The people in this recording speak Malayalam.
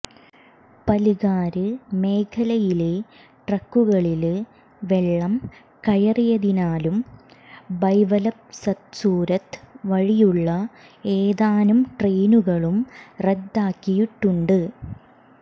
പല്ഘാര് മേഖലയിലെ ട്രാക്കുകളില് വെള്ളം കയറിയതിനാല് മുംബൈവല്സദ്സൂരത് വഴിയുള്ള ഏതാനും ട്രെയിനുകളും റദ്ദാക്കിയിട്ടുണ്ട്